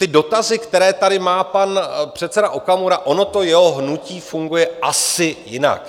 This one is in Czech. Ty dotazy, které tady má pan předseda Okamura, ono to jeho hnutí funguje asi jinak.